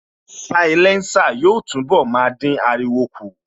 Sialésà yóò túnbọ̀ máa dín ariwo kù